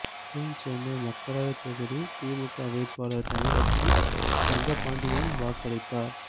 தென் சென்னை மக்களவை தொகுதி திமுக வேட்பாளர் தமிழச்சி தங்கபாண்டியன் வாக்களித்தார்